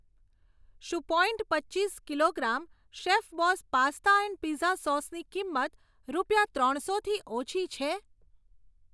શું પોઇન્ટ પચીસ kilogram Chefboss pasta and pizza સોસની કિંમત રૂપિયા ત્રણસોથી ઓછી છે?